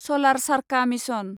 सलार चारखा मिसन